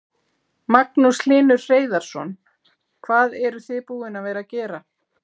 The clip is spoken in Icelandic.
Magnús Hlynur Hreiðarsson: Hvað eruð þið búin að vera gera?